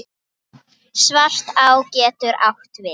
Svartá getur átt við